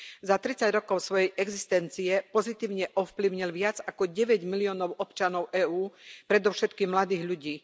Za tridsať rokov svojej existencie pozitívne ovplyvnil viac ako 9 miliónov občanov EÚ, predovšetkým mladých ľudí.